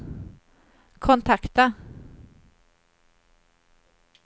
kontakta